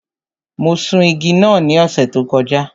Mo sun igi náà ní ọ̀sẹ̀ tó kọjá.